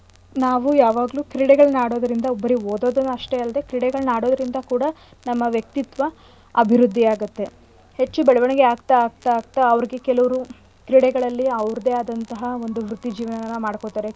ನಾವೂ ಯಾವಾಗ್ಲೂ ಕ್ರೀಡೆಗಳ್ನ ಆಡೋದ್ರಿಂದ ಬರೀ ಓದೋದೇ ಅಷ್ಟೇ ಅಲ್ಡೆ ಕ್ರೀಡೆಗಳ್ನ ಆಡೋದ್ರಿಂದ ಕೂಡ ನಮ್ಮ ವ್ಯಕ್ತಿತ್ವ ಅಭಿವೃದ್ದಿ ಆಗತ್ತೆ. ಹೆಚ್ಚು ಬೆಳವಣಿಗೆ ಆಗ್ತಾ ಆಗ್ತಾ ಆಗ್ತಾ ಅವ್ರ್ಗೆ ಕೆಲವ್ರು ಕ್ರೀಡೆಗಳಲ್ಲಿ ಅವ್ರ್ದೆ ಆದಂತಹ ಒಂದು ವೃತ್ತಿಜೀವನನ ಮಾಡ್ಕೊತಾರೆ.